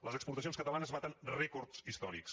les exportacions catalanes baten rècords històrics